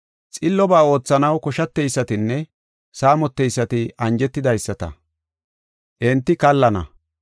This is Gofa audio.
Xillobaa oothanaw koshateysatinne saamoteysati anjetidaysata, enti kallana.